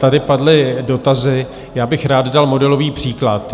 Tady padly dotazy, já bych rád dal modelový příklad.